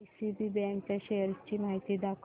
DCB bank च्या shares ची माहिती दाखव